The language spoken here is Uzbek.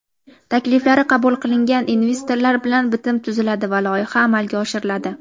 Takliflari qabul qilingan investorlar bilan bitim tuziladi va loyiha amalga oshiriladi.